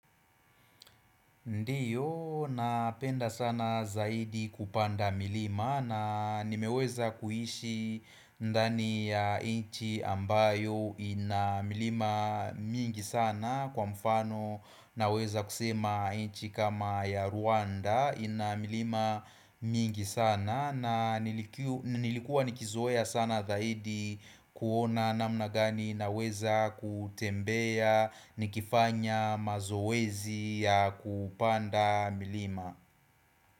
Ndiyo, napenda sana zaidi kupanda milima na nimeweza kuhishi ndani ya inchi ambayo ina milima mingi sana kwa mfano na weza kusema inchi kama ya Rwanda ina milima mingi sana na nilikuwa nikizoea sana dahidi kuona namna gani na weza kutembea nikifanya mazowezi ya kupanda milima.